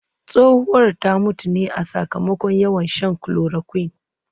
Tsohuwar ta mutu ne sakamakon yawan shan chloroquine